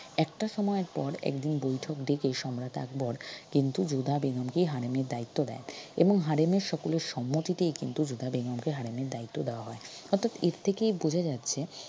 একটা সময় পর একদিন বৈঠক ডেকে সম্রাট আকবর কিন্তু যোধা বেগমকে হারেমের দায়িত্ব দেয় এবং হারেমের সকলের সম্মতিতেই কিন্তু যোধা বেগমকে হারেমের দায়িত্ব দেওয়া হয় অর্থাৎ এর থেকেই বোঝা যাচ্ছে